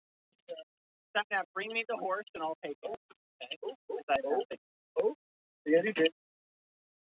spurði Jón og brosti í kampinn.